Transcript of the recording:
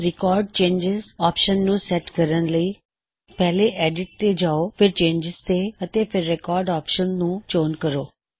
record changes option ਨੂੰ set ਕਰਨ ਲਈ ਪਹਲੇ ਐੱਡਿਟ ਤੇ ਜਾਓ ਫੇਰ ਚੇਨਜਿਜ਼ ਤੇ ਅਤੇ ਫੇਰ ਰਿਕੌਰ੍ਡ ਆਪਸ਼ਨ ਨੂੰ ਚੈੱਕ ਕਰੋ